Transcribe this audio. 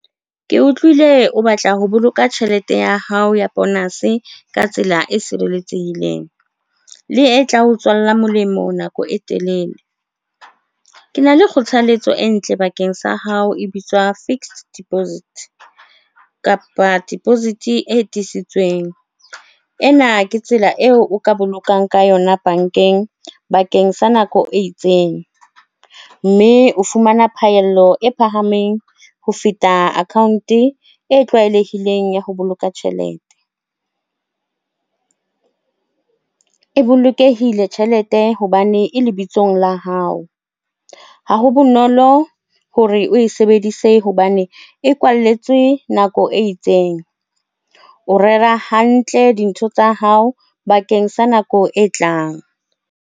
Ke utlwile, o batla ho boloka tjhelete ya hao ya bonus-e ka tsela e sireletsehileng, le e tla o tswalla molemo nako e telele. Ke na le kgothaletso e ntle bakeng sa hao e bitswa fixed deposit kapa deposit e tiiseditsweng. Ena ke tsela eo o ka bolokang ka yona bankeng bakeng sa nako e itseng mme o fumana phahello e phahameng ho feta account e tlwaelehileng ya ho boloka tjhelete e bolokehile tjhelete hobane e lebitsong la hao ha ho bonolo hore o e sebedise hobane e kwalletswe nako e itseng, o rera hantle dintho tsa hao bakeng sa nako e tlang.